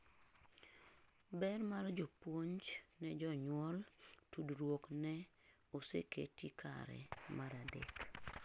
ber mar jopuonj ne jonyuol tudruok ne oseketi kare mar adek